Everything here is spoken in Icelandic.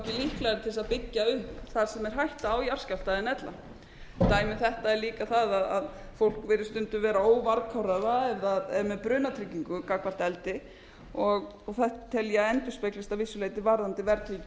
að byggja upp þar sem er hætta á jarðskjálfta en ella dæmi um þetta er líka það að fólk virðist stundum vera óvarkárara með brunatryggingu gagnvart eldi og þetta tel ég að endurspeglist að vissu leyti varðandi